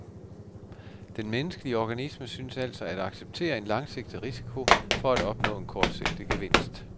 Den menneskelige organisme synes altså at acceptere en langsigtet risiko for at opnå en kortsigtet gevinst.